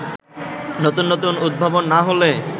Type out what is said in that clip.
নতুন নতুন উদ্ভাবন না হলে